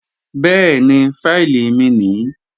Bẹ́ẹ̀ni, fáìlì mi nìí